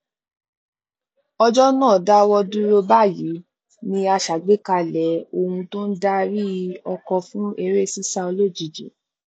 òjò náà dáwọ dúró báyìí ni a ṣàgbékalẹ ohun tó n darí ọkọ fún eré sísá olójijì